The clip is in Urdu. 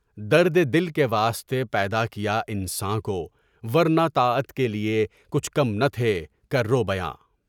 درد دل کے واسطے پیدا کیا انساں کو ورنہ طاعت کے لیے پچھ کم نہ تھے کروبیاں